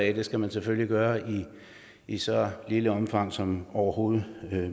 at det skal man selvfølgelig gøre i et så lille omfang som overhovedet